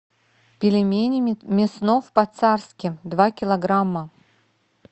пельмени мяснов по царски два килограмма